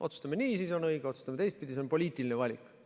Otsustame nii, siis on nii õige, või otsustame teistpidi – see on poliitiline valik.